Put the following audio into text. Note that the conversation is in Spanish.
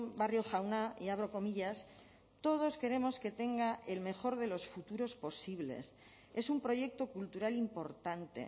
barrio jauna y abro comillas todos queremos que tenga el mejor de los futuros posibles es un proyecto cultural importante